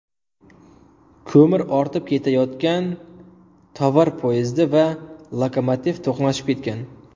Ko‘mir ortib ketayotgan tovar poyezdi va lokomotiv to‘qnashib ketgan.